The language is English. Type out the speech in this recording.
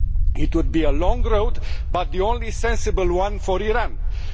It would be a long road but the only sensible one for Iran.